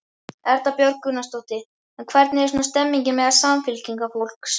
Erla Björg Gunnarsdóttir: En hvernig er svona stemningin meðal Samfylkingarfólks?